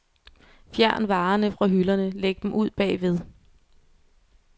Fjern varerne fra hylderne, læg dem ud bagved.